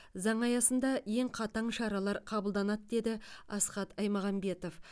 заң аясында ең қатаң шаралар қабылданады деді асхат аймағамбетов